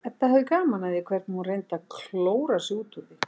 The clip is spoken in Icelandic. Edda hafði gaman af því hvernig hún reyndi að klóra sig út úr því.